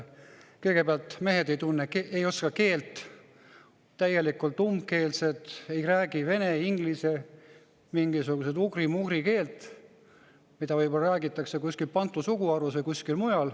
Kõigepealt, need mehed ei oska keelt: täielikult umbkeelsed, ei räägi vene, inglise, mingisugust ugri-mugri keelt, mida võib-olla räägitakse kuskil bantu suguharus või kuskil mujal.